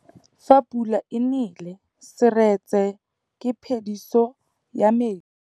Fa pula e nelê serêtsê ke phêdisô ya metsi.